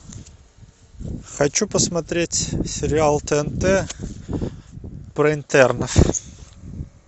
хочу посмотреть сериал тнт про интернов